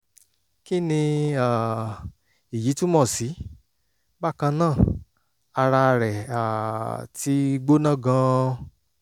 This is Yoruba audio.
kí ni um èyí túmọ̀ sí? bákan náà ara rẹ̀ um ti gbóná gan-an